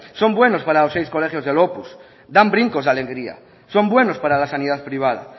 son buenos para los seis colegios del opus dan brincos de alegría son buenos para la sanidad privada